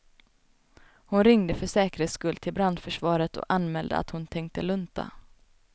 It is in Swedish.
Hon ringde för säkerhets skull till brandförsvaret och anmälde att hon tänkte lunta.